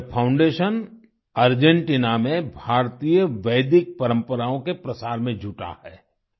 यह foundation Argentina में भारतीय वैदिक परम्पराओं के प्रसार में जुटा है